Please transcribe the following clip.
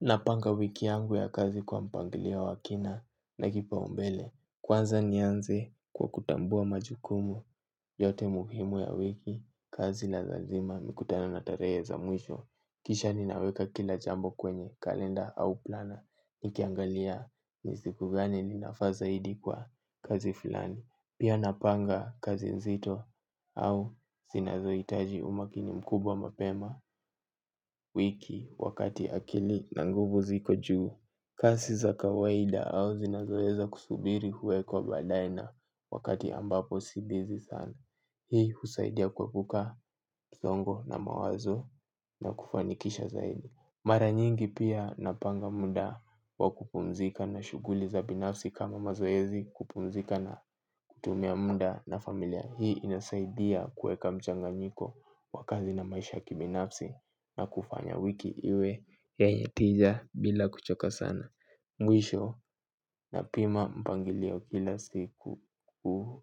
Napanga wiki yangu ya kazi kwa mpangilio wa kina na kipaumbele. Kwanza nianze kwa kutambua majukumu yote muhimu ya wiki, kazi la lazima nikutane na tarehe za mwisho. Kisha ninaweka kila jambo kwenye, kalenda au plana, nikiangalia ni siku gani ninafaa zaidi kwa kazi fulani. Pia napanga kazi nzito au zinazoitaji umakini mkubwa mapema wiki wakati akili na nguvu ziko juu. Kasi za kawaida au zinazoeza kusubiri huwekwa badae na wakati ambapo si bizi sana. Hii husaidia kuepuka zongo na mawazo na kufanikisha zaidi. Mara nyingi pia napanga muda wa kupumzika na shuguli za binafsi kama mazoezi kupumzika na kutumia muda na familia hii inasaidia kueka mchanganyiko wa kazi na maisha ya kibinafsi na kufanya wiki iwe yenye tija bila kuchoka sana. Mwisho napima mpangilio kila siku